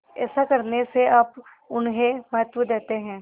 ऐसा करने से आप उन्हें महत्व देते हैं